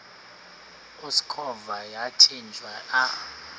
usikhova yathinjw a